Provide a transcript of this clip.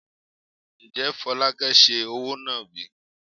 Ǹjẹ́ Folake ń ṣe òwò nàbì?